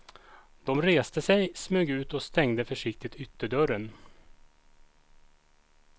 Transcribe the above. De reste sig, smög ut och stängde försiktigt ytterdörren.